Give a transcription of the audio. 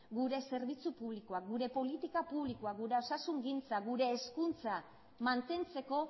gure zerbitzu publikoak gure politika publikoak gure osasungintza gure hezkuntza mantentzeko